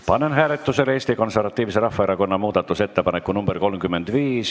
Panen hääletusele Eesti Konservatiivse Rahvaerakonna muudatusettepaneku nr 35.